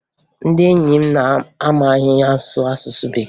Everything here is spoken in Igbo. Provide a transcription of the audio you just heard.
Ndị enyi m amaghị asụ asụsụ Bekee